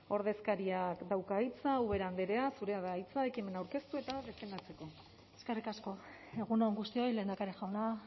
ordezkariak dauka hitza ubera andrea zurea da hitza ekimena aurkeztu eta defendatzeko eskerrik asko egun on guztioi lehendakari jauna